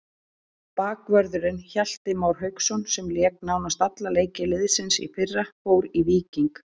Bakvörðurinn Hjalti Már Hauksson sem lék nánast alla leiki liðsins í fyrra fór í Víking.